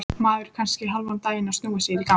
Maður er kannski hálfan daginn að snúa sér í gang.